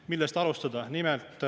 Millest alustada?